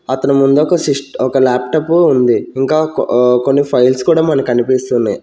అతని ముందు ఒక సిస్ట-- ఒక లాప్టాప్ ఉంది ఇంకా ఆ కొన్ని ఫైల్స్ కూడా మనకి కనిపిస్తున్నాయి.